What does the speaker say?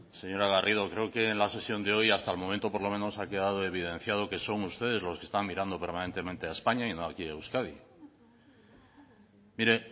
señora garrido creo que en la sesión de hoy hasta el momento por lo menos ha quedado evidenciado que son ustedes los que están mirando permanentemente a españa y no aquí a euskadi mire